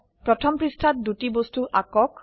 প্রথম পৃষ্ঠাত দুটি বস্তু আঁকক